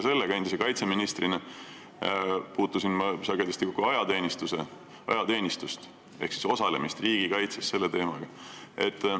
Mina puutusin kaitseministrina sagedasti kokku ajateenistuses ehk siis riigikaitses osalemise teemaga.